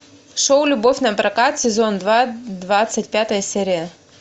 шоу любовь напрокат сезон два двадцать пятая серия